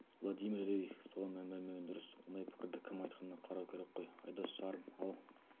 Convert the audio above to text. владимир рерих соған мән бермеген дұрыс ондай пікірді кім айтқанына қарау керек қой айдос сарым ал